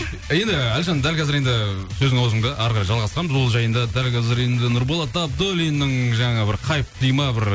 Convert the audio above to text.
енді әлжан дәл қазір енді сөзің аузыңда әрі қарай жалғастырамыз ол жайында дәл қазір енді нұрболат абуллиннің жаңа бір хайп дей ма бір